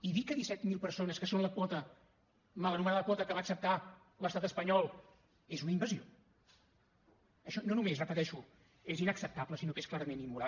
i dir que disset mil persones que són la quota mal anomenada quota que va acceptar l’estat espanyol és una invasió això no només ho repeteixo és inacceptable sinó que és clarament immoral